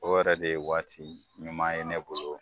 O yɛrɛ de ye waati ɲuman ye ne bolo